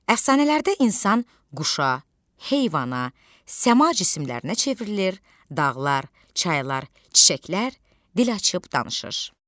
Əfsanələrdə insan quşa, heyvana, səma cisimlərinə çevrilir, dağlar, çaylar, çiçəklər dil açıb danışır.